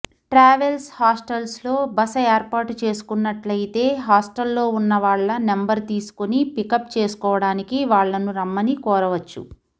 travels హాస్టల్స్లో బస ఏర్పాటు చేసుకున్నట్లయితే హాస్టల్లో ఉన్న వాళ్ల నంబర్ తీసుకొని పికప్ చేసుకోవడానికి వాళ్లను రమ్మని కోరవచ్చు